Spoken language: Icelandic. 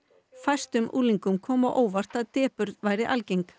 fæstum unglingum kom á óvart að depurð væri algeng